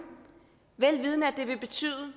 vel vidende at det vil betyde at